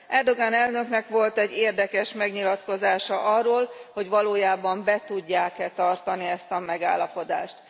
Erdogan elnöknek volt egy érdekes megnyilatkozása arról, hogy valójában be tudják e tartani ezt a megállapodást.